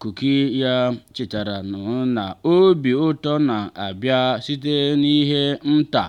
kuki ya chetara m na obi ụtọ na-abịa site n’ihe nta.